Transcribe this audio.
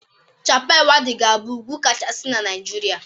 Chappal Waddi ga-abụ ugwu kachasi na Naịjirịa